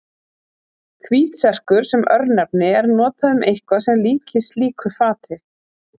Hvítserkur sem örnefni er notað um eitthvað sem líkist slíku fati.